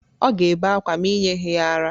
Ọ ga-ebe ákwá ma i nyeghi ya ara.